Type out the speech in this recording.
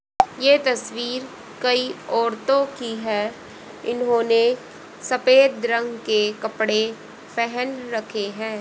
ये तस्वीर कई औरतों की है इन्होंने सफेद रंग के कपड़े पहन रखे हैं।